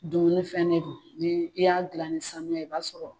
Dumunifɛn de don n'i y'a gila ni saniya ye i b'a sɔrɔ.